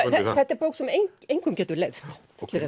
þetta er bók sem engum getur leiðst